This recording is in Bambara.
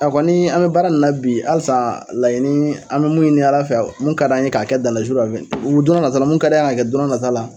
A kɔni an mi baara min na bi halisa laɲini an mɛ mun ɲini Ala fɛ, mun ka d'an ye k'a kɛ, donn'a nata, mun ka d'an ye, ka kɛ donn'a nataw la